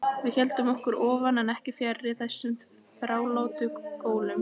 Við héldum okkur oftar en ekki fjarri þessum þrálátu gólum.